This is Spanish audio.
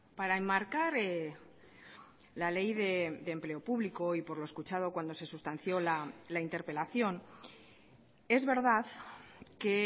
para enmarcar la ley de empleo público y por lo escuchado cuando se sustanció la interpelación es verdad que